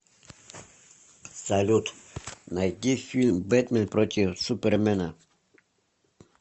салют найди фильм бэтмэн против супермэна